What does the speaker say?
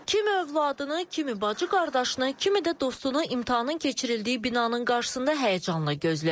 Kim övladını, kimi bacı-qardaşını, kimi də dostunu imtahanın keçirildiyi binanın qarşısında həyəcanla gözləyir.